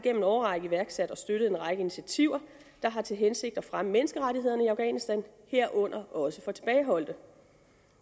en årrække iværksat og støttet en række initiativer der har til hensigt at fremme menneskerettighederne i afghanistan herunder også for tilbageholdte